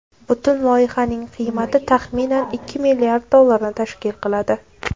Butun loyihaning qiymati taxminan ikki milliard dollarni tashkil qiladi.